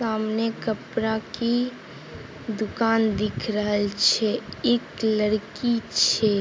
सामने कपड़ा की दुकान दिख रहल छैएक लड़की छै ।